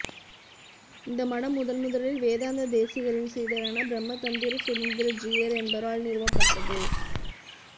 இந்த மடம் முதன்முதலில் வேதாந்த தேசிகரின் சீடரான பிரம்மதந்திர சுதந்திர ஜீயர் என்பவரால் நிறுவப்பட்டது